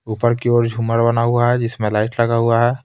ऊपर की ओर झूमर बना हुआ है जिसमें लाइट लगा हुआ है।